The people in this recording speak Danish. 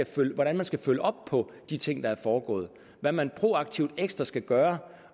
til hvordan man skal følge op på de ting der er foregået hvad man proaktivt ekstra skal gøre